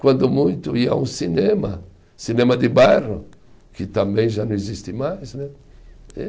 Quando muito ia ao cinema, cinema de bairro, que também já não existe mais, né? E